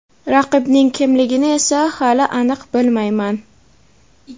Raqibning kimligini esa hali aniq bilmayman.